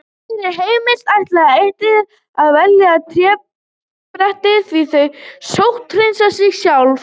Fyrir heimili ætti ætíð að velja trébretti því þau sótthreinsa sig sjálf.